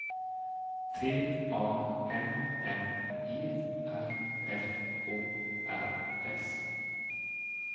T A M M E R F O R S